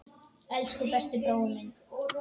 Elsku besti brói minn.